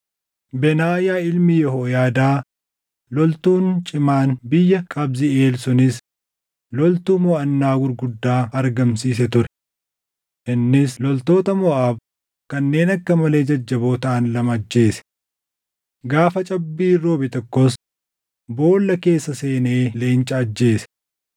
Benaayaa ilmi Yehooyaadaa loltuun cimaan biyya Qabziʼeel sunis loltuu moʼannaa gurguddaa argamsiise ture. Innis loltoota Moʼaab kanneen akka malee jajjaboo taʼan lama ajjeese. Gaafa cabbiin roobe tokkos boolla keessa seenee leenca ajjeese.